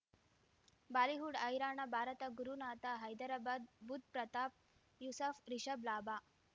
Bollywood ಹೈರಾಣ ಭಾರತ ಗುರುನಾಥ ಹೈದರಾಬಾದ್ ಬುಧ್ ಪ್ರತಾಪ್ ಯೂಸಫ್ ರಿಷಬ್ ಲಾಭ